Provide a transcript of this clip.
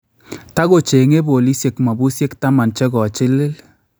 Takocheng�e boolisyeek mabusyeek taman che kochiliil